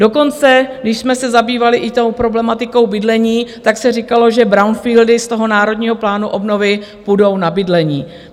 Dokonce když jsme se zabývali i tou problematikou bydlení, tak se říkalo, že brownfieldy z toho Národního plánu obnovy půjdou na bydlení.